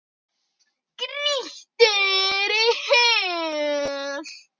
Grýttir í hel.